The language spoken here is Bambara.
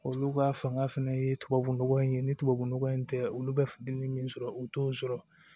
Olu ka fanga fɛnɛ ye tubabu nɔgɔ in ye ni tubabu nɔgɔ in tɛ olu bɛ dumuni min sɔrɔ u t'o sɔrɔ